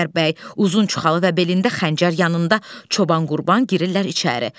Qəmbər bəy, uzun çuxalı və belində xəncər yanında Çoban Qurban girirlər içəri.